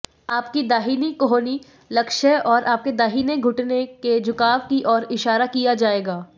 आपकी दाहिनी कोहनी लक्ष्य और आपके दाहिने घुटने के झुकाव की ओर इशारा किया जाएगा